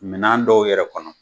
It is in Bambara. Minan dɔw yɛrɛ kɔnɔ.